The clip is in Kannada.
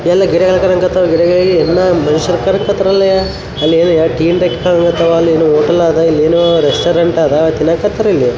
ಮರಗಳು ನಮ್ಮ ಅಕ್ಕಪಕ್ಕ ತುಂಬಾ ಮರ ಇದೆ ನಮ್ಮ ಜಾಗಗಳಲ್ಲಿ ಮರ ಇದ್ರೆ ತುಂಬಾ ಅನುಕೂಲನೆ ಸರ್ಕು ಎಲ್ಲಾ ಬಿಳುತ್ತೆ ಗಾಳಿ ಬಂದ್ರಂತು ಡೆಂಜರ್ರು